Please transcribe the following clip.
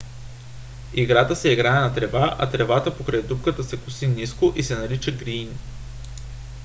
играта се играе на трева а тревата покрай дупката се коси ниско и се нарича грийн